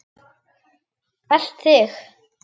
Elt þig?